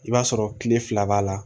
I b'a sɔrɔ kile fila b'a la